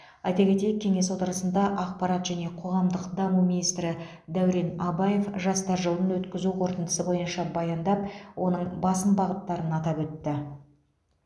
айта кетейік кеңес отырысында ақпарат және қоғамдық даму министрі дәурен абаев жастар жылын өткізу қорытындысы бойынша баяндап оның басым бағыттарын атап өтті